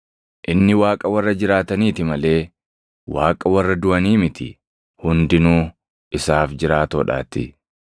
Inni Waaqa warra jiraataniiti malee Waaqa warra duʼanii miti; hundinuu isaaf jiraatoodhaatii.”